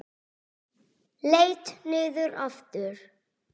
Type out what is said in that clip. Leit niður aftur.